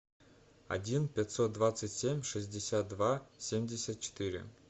один пятьсот двадцать семь шестьдесят два семьдесят четыре